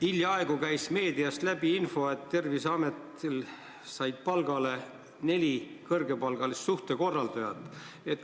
Hiljaaegu käis meediast läbi info, et Terviseametis said palgale neli kõrgepalgalist suhtekorraldajat.